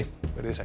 veriði sæl